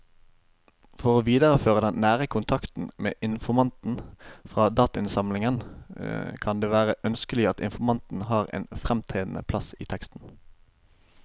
For å videreføre den nære kontakten med informanten fra datainnsamlingen kan det være ønskelig at informanten har en fremtredende plass i teksten.